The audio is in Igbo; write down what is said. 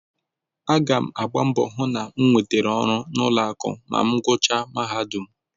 Aga m agba mbọ hụ na m nwetara ọrụ n'ụlọakụ ma m gụchaa mahadum